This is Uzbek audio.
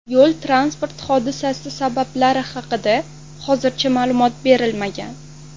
Yo‘l-transport hodisasi sabablari haqida hozircha ma’lumot berilmagan.